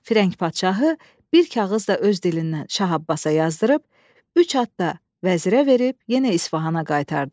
Firəng padşahı bir kağız da öz dilindən Şah Abbasa yazdırıb, üç at da vəzirə verib, yenə İsfahana qaytardı.